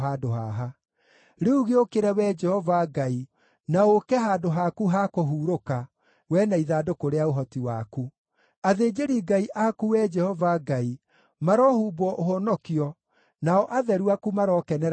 “Rĩu gĩũkĩre, Wee Jehova Ngai, na ũũke handũ haku ha kũhurũka, Wee na ithandũkũ rĩa ũhoti waku. Athĩnjĩri-Ngai aku, Wee Jehova Ngai, marohumbwo ũhonokio, nao atheru aku marokenera wega waku.